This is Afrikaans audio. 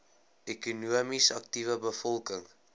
ekonomies aktiewe bevolking